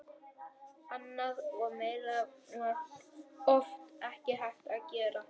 Annað og meira var oft ekki hægt að gera.